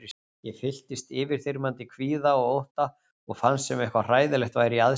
Ég fylltist yfirþyrmandi kvíða og ótta og fannst sem eitthvað hræðilegt væri í aðsigi.